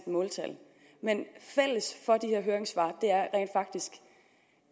måltal men fælles for de her høringssvar